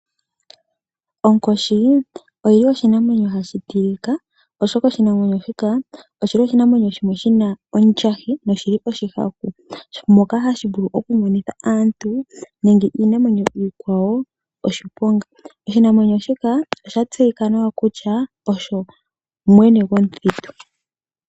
Onkoshi oyi li oshinamwenyo hashi tilika oshoka oshinamwenyo shika oshi li oshinamwenyo shimwe shina ondjahi noshi li oshihahu shoka hashi vulu okumonitha aantu nenge iinamwenyo iikwawo oshiponga. Oshinamwenyo shika osha tseyika nawa kutya osho mwene gomuthitu.